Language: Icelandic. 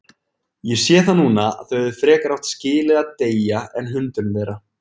Ég sé það núna að þau hefðu frekar átt skilið að deyja en hundurinn þeirra.